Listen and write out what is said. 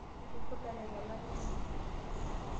Etupurdate ilala linonok.